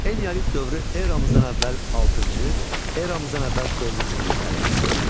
Eneolit dövrü eramızdan əvvəl altıncı, eramızdan əvvəl dördüncü minillikləri əhatə edir.